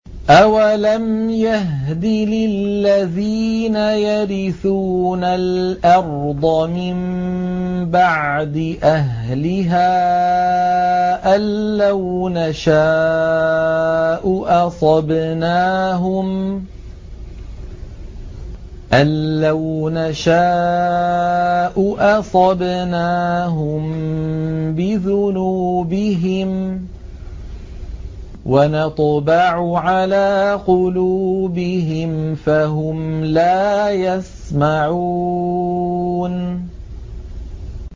أَوَلَمْ يَهْدِ لِلَّذِينَ يَرِثُونَ الْأَرْضَ مِن بَعْدِ أَهْلِهَا أَن لَّوْ نَشَاءُ أَصَبْنَاهُم بِذُنُوبِهِمْ ۚ وَنَطْبَعُ عَلَىٰ قُلُوبِهِمْ فَهُمْ لَا يَسْمَعُونَ